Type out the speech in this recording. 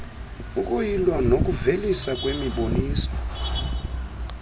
ukuyilw nokuveliswa kwemiboniso